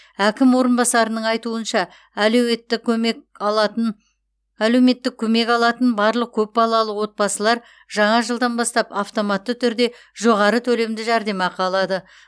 әкім орынбасарының айтуынша әлеуетті көмек алатын әлеуетті көмек алатын барлық көп балалы отбасылар жаңа жылдан бастап автоматты түрде жоғары төлемді жәрдемақы алады